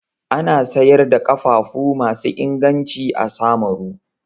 Ana sayar da ƙafafu masu inganci a Samaru.